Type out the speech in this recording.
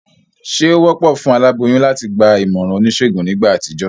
Sé o wópò fún aláboyún láti gba ìmòràn onísègùn nígbà àtijó?